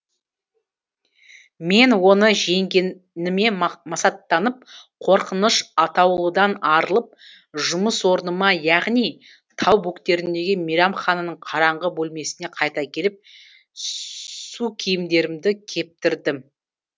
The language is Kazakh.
мен оны жеңгеніме масаттанып қорқыныш атаулыдан арылып жұмыс орныма яғни тау бөктеріндегі мейрамхананың караңғы бөлмесіне қайта келіп су киімдерімді кептірдім